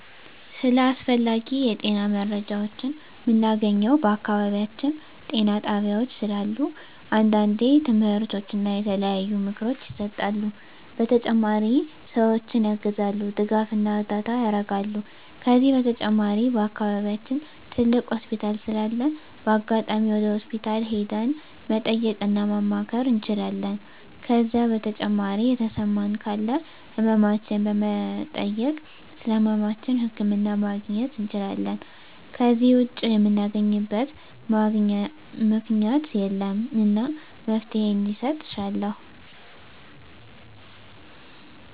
ስለ አስፈላጊ የጤና መረጃዎችን ምናገኘው በአካባቢያችን ጤና ጣቤያዎች ስላሉ አንዳንዴ ትምህርቶች እና የተለያዩ ምክሮች ይሰጣሉ በተጨማሪ ሰዎችን ያግዛሉ ድጋፍና እርዳታ ያረጋሉ ከዚህ በተጨማሪ በአከባቢያችን ትልቅ ሆስፒታል ስላለ በአጋጣሚ ወደ ሆስፒታል ሄደን መጠየቅ እና ማማከር እንችላለን ከዜ በተጨማሪ የተሰማን ካለ ህመማችን በመጠየክ ስለህመማችን ህክምና ማግኘት እንችላለን ከዜ ውጭ ምናገኝበት ምክኛት የለም እና መፍትሔ እንዲሰጥ እሻለሁ